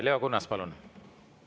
Leo Kunnas, palun!